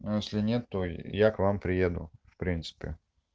а если нет то я к вам приеду в принципе